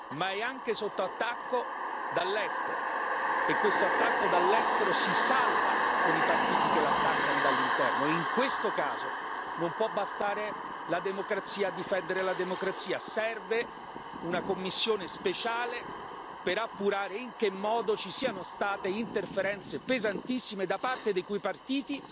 Ma è anche sotto attacco dall'estero, e questo attacco dall'estero si salda con i partiti che la attaccano dall'interno e, in questo caso, non può bastare la democrazia a difendere la democrazia, serve una commissione speciale per appurare in che modo ci siano state interferenze pesantissime da parte di quei partiti